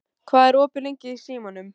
Ísólfur, hvað er opið lengi í Símanum?